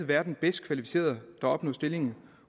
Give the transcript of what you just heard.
være den bedst kvalificerede der opnår stillingen